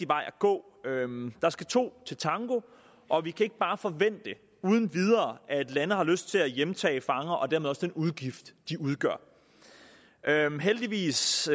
vej at gå der skal to til tango og vi kan ikke bare forvente uden videre at lande har lyst til at hjemtage fanger og dermed også overtage den udgift de udgør heldigvis